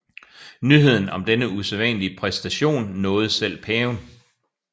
Nyheden om denne usædvanlige præstation nåede selv paven